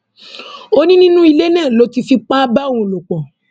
ó ní nínú ilé náà ló ti fipá bá òun lò pọ